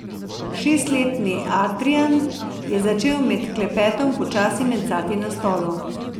Šestletni Adrijan je začel med klepetom počasi mencati na stolu.